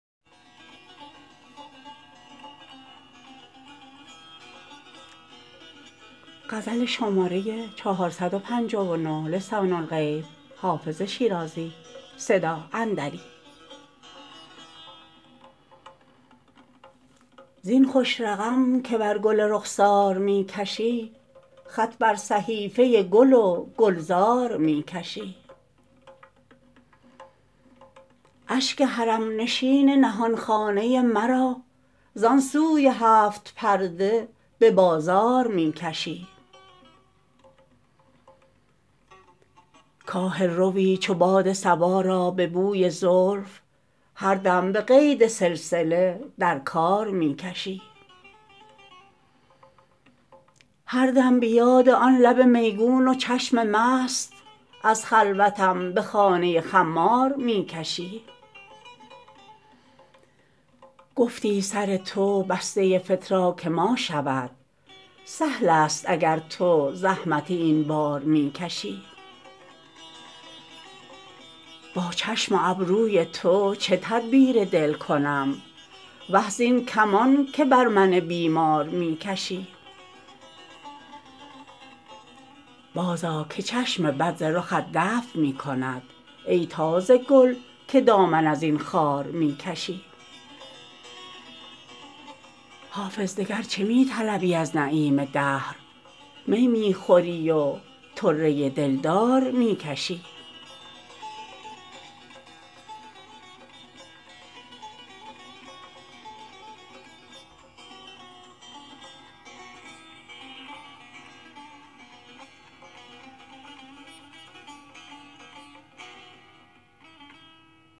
زین خوش رقم که بر گل رخسار می کشی خط بر صحیفه گل و گلزار می کشی اشک حرم نشین نهان خانه مرا زان سوی هفت پرده به بازار می کشی کاهل روی چو باد صبا را به بوی زلف هر دم به قید سلسله در کار می کشی هر دم به یاد آن لب میگون و چشم مست از خلوتم به خانه خمار می کشی گفتی سر تو بسته فتراک ما شود سهل است اگر تو زحمت این بار می کشی با چشم و ابروی تو چه تدبیر دل کنم وه زین کمان که بر من بیمار می کشی بازآ که چشم بد ز رخت دفع می کند ای تازه گل که دامن از این خار می کشی حافظ دگر چه می طلبی از نعیم دهر می می خوری و طره دلدار می کشی